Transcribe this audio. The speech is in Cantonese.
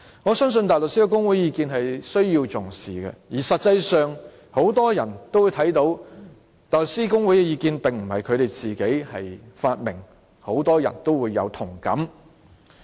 我相信大律師公會的意見是需要重視的，而實際上很多人也會看到，大律師公會的意見並不是他們自己發明的，很多人亦有同感。